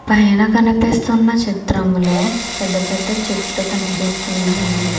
పైనా కనిపిస్తున్న చిత్రంలో పెద్ద పెద్ద చెట్లు కనిపిస్తున్నాయి.